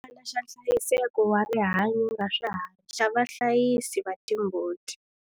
Xibukwana xa nhlayiseko wa rihanyo ra swiharhi xa vahlayisi va timbuti.